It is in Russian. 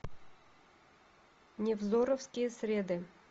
невзоровские среды